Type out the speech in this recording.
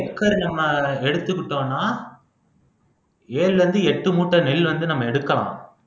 ஒரு ஏக்கர் நம்ம எடுத்துக்கிட்டோம்ன்னா ஏழுல இருந்து எட்டு மூட்டை நெல் வந்து நம்ம எடுக்கலாம்